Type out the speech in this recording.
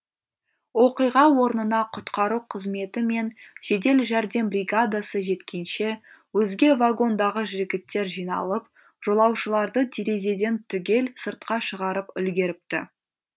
оқиға орнына құтқару қызметі мен жедел жәрдем бригадасы жеткенше өзге вагондағы жігіттер жиналып жолаушыларды терезеден түгел сыртқа шығарып үлгеріпті